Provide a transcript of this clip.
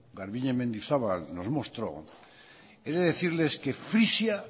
garbiñe mendizabal nos mostró he de decirles que frisia